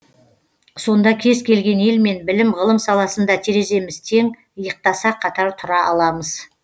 сонда кез келген елмен білім ғылым саласында тереземіз тең иықтаса қатар тұра аламыз